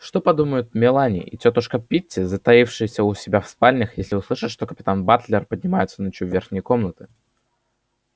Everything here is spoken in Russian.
что подумают мелани и тётушка питти затаившиеся у себя в спальнях если услышат что капитан батлер поднимается ночью в верхние комнаты